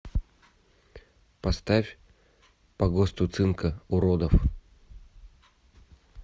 поставь по госту цинка уродов